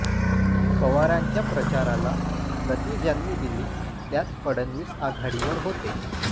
पवारांच्या प्रचाराला गती ज्यांनी दिली त्यात फडणवीस आघाडीवर होते